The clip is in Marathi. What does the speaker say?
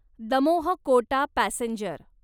दमोह कोटा पॅसेंजर